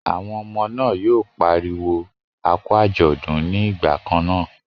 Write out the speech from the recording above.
Àwọn ọmọ náà yóò pariwo a kú àjọ̀dún ní ìgbà kan náà.